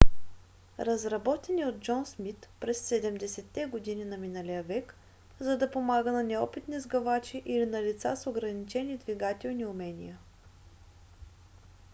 разработен е от джон смит през 70-те години на миналия век за да помага на неопитни сгъвачи или на лица с ограничени двигателни умения